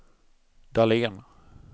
Dahlén